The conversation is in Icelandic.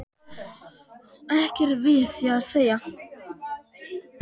Og ekkert við því að segja.